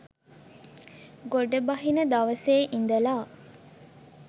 ගොඩබහින දවසේ ඉඳලා.